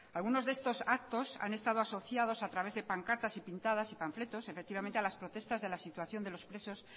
algunos de estos actos han estado asociados a través de pancartas pintadas y panfletos efectivamente a las protestas de la situación de los presos